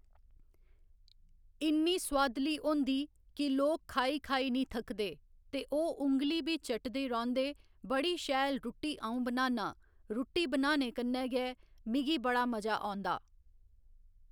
इ'न्नी सोआदली होंदी की लोग खाई खाई नी थकदे ते ओह् उंगली बी चटदे रौंह्दे बड़ी शैल रुट्टी अं'ऊ बनाना रुट्टी बनाने कन्नै गै मिगी बड़ा मजा औंदा